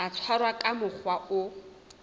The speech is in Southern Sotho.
tla tshwarwa ka mokgwa o